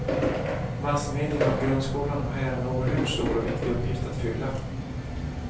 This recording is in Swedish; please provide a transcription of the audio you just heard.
Massmedierna och grundskolan har här en oerhört stor och viktig uppgift att fylla.